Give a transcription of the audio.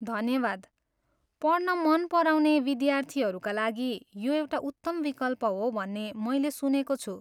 धन्यवाद, पढ्न मन पराउने विद्यार्थीहरूका लागि यो एउटा उत्तम विकल्प हो भन्ने मैले सुनेको छु।